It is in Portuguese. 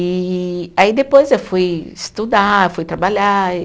E aí depois eu fui estudar, fui trabalhar.